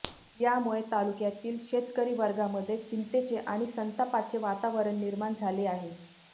यामुळे तालुक्यातील शेतकरीवर्गामध्ये चिंतेचे आणि संतापाचे वातावरण निर्माण झाले आहे